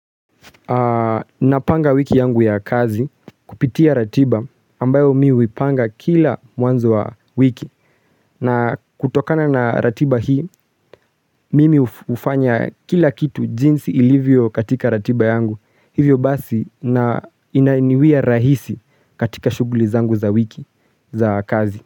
Na panga wiki yangu ya kazi kupitia ratiba ambayo mimi nimepanga kila mwanzo wa wiki na kutokana na ratiba hii mimi ufanya kila kitu jinsi ilivyo katika ratiba yangu hivyo basi na inaniwiya rahisi katika shuguli zangu za wiki za kazi.